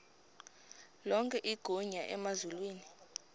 lonke igunya emazulwini